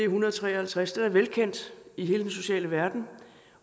hundrede og tre og halvtreds den er velkendt i hele den sociale verden